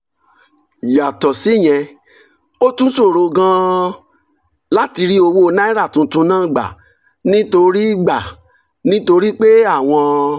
yàtọ̀ síyẹn ó tún ṣòro gan-an láti rí owó naira tuntun náà gbà nítorí gbà nítorí pé àwọn